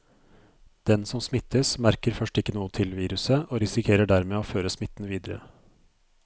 Den som smittes, merker først ikke noe til viruset og risikerer dermed å føre smitten videre.